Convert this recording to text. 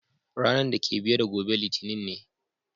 Ranan dake biye da gobe Litinin ne.